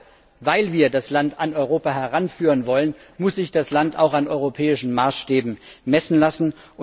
Gerade weil wir das Land an Europa heranführen wollen, muss sich das Land auch an europäischen Maßstäben messen lassen.